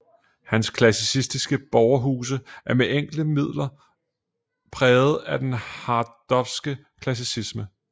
Hans klassicistiske borgerhuse er med enkle midler er præget af den harsdorffske klassicisme